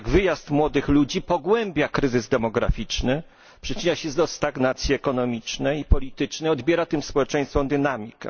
Jednak wyjazd młodych ludzi pogłębia kryzys demograficzny, przyczynia się do stagnacji ekonomicznej i politycznej, odbiera tym społeczeństwom dynamikę.